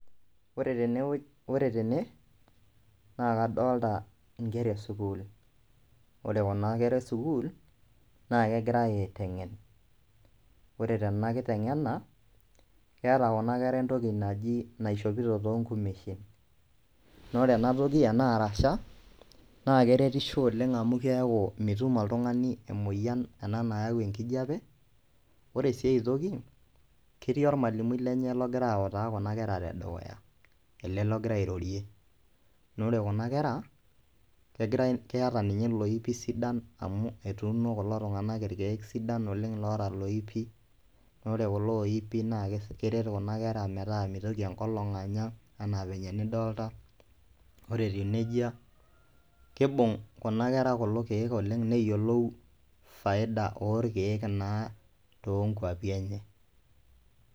Ore tene naa kadolita inkera e school ore kuna kera e school naa kegirae aiteng'en ore tena kiteng'ena keeta kuna kera entoki naji naishopito toonkumeshin naa ore ena toki ena arasha naa keretisho oleng amu keeku mitum oltung'ani emoyian ena nayau enkijiape ore sii ae toki ketii ormwalimui lenye logira aautaa kuna keta tedukuya ele logira airorie naa ore kuna kera keeta ninye iloipi sidan amu etuuno kulo tung'anak irkiek sidain oleng loota iloipi naa ore kulo ooipi nepik kuna kera metaa meitoki enkolong anya enaa venye nidolita ore etiu nejia keibung kuna kera kulo kiek oleng neyiolou faida naaa toonkuapi enye.